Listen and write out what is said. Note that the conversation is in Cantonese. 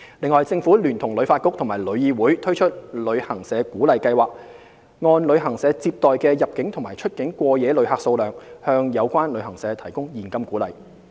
此外，政府聯同旅發局和旅議會推出"旅行社鼓勵計劃"，按旅行社接待的入境及出境過夜旅客數量，向有關旅行社提供現金鼓勵。